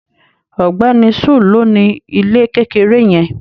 Ògbéni sul ló ni ilé kékeré yẹn.